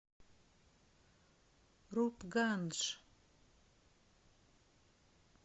рупгандж